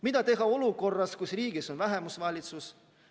Mida teha olukorras, kus riigis on vähemusvalitsus?